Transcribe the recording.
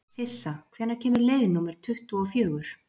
Sissa, hvenær kemur leið númer tuttugu og fjögur?